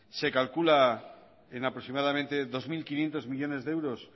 se calcula en aproximadamente dos mil quinientos millónes de euros